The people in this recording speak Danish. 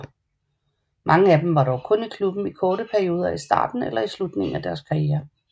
Mange af dem var dog kun i klubben i korte perioder i starten eller i slutningen af deres karrierer